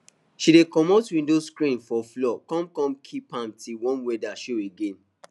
she dey commot window screen for fall com com keep am till warm weather show again